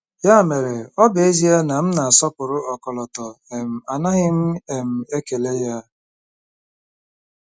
Ya mere, ọ bụ ezie na m na-asọpụrụ ọkọlọtọ um, anaghị m um ekele ya.